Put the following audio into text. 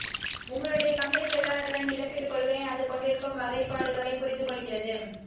உங்களுடைய கம்பெனி தொழிலாளர்களின் இழப்பீட்டுக் கொள்கையை அது கொண்டிருக்கும் வகைப்பாடுகளைப் புரிந்துகொள்கிறது